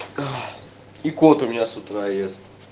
и кот у меня с утра ест